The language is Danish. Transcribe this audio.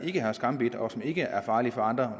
ikke har skambidt og som ikke er farlige for andre